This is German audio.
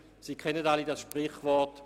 Sie alle kennen das Sprichwort: